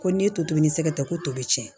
Ko ne ye totobi ni n sɛgɛn dɛ ko tobi tiɲɛ